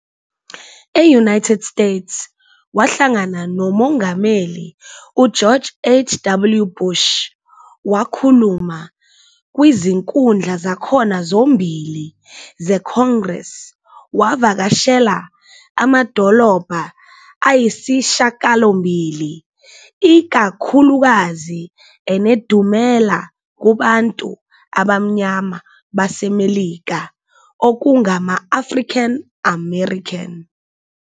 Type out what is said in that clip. E-United States, wahlangana noMongameli uGeorge H. W. Bush, wakhuluma kwizinkundla zakhona zombili ze-Congress wavakashela amadolobha ayisishagalombili, ikakhulukazi enedumela kubantu abamnyama baseMelika okungama- African-American.